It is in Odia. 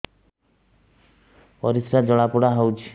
ପରିସ୍ରା ଜଳାପୋଡା ହଉଛି